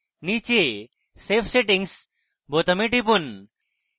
নীচে save settings বোতামে টিপুন